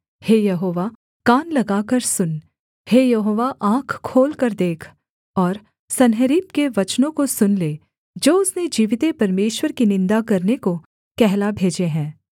हे यहोवा कान लगाकर सुन हे यहोवा आँख खोलकर देख और सन्हेरीब के वचनों को सुन ले जो उसने जीविते परमेश्वर की निन्दा करने को कहला भेजे हैं